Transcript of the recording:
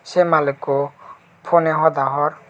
seh malikho phoneh hoda hor.